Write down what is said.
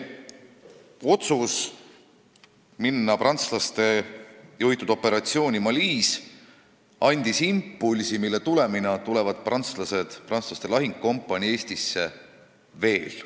Otsus osaleda prantslaste juhitud operatsioonil Malis andis impulsi, mille tulemusena tuleb Prantsuse lahingukompanii Eestisse veel.